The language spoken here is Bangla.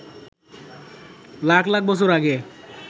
লাখ লাখ বছর আগে